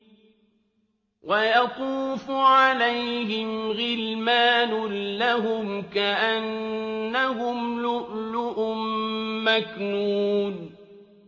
۞ وَيَطُوفُ عَلَيْهِمْ غِلْمَانٌ لَّهُمْ كَأَنَّهُمْ لُؤْلُؤٌ مَّكْنُونٌ